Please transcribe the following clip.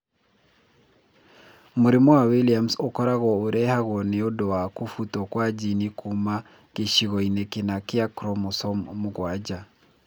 Mũrimũ wa Williams ũkoragwo ũrehagwo nĩ ũndũ wa kũbutwo kwa jini kuuma gĩcigo-inĩ kĩna kĩa chromosome mũgwanja.